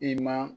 I ma